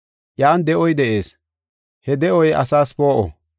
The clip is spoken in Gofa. Iyan de7oy de7ees; he de7oy asaas poo7o.